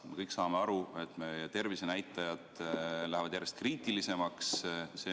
Me kõik saame aru, et meie tervishoiunäitajad lähevad järjest kriitilisemaks.